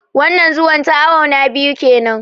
Wannan Zuwan ta awu na biyu kenan